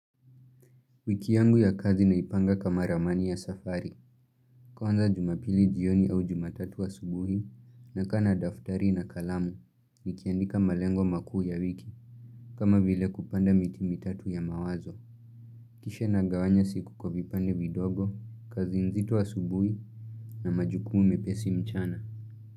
Wiki yangu ya kazi naipanga kama ramani ya safari. Kwanza jumapili jioni au jumatatu asubuhi, nakaa na daftari na kalamu, nikiandika malengo makuu ya wiki, kama vile kupanda miti mitatu ya mawazo. Kisha nagawanya siku kwa vipande vidogo, kazi nzito asubuhi, na majukumu mepesi mchana.